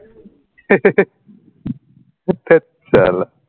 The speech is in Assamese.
থেত চালা